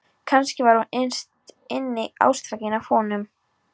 Kannski var hún innst inni ástfangin af honum.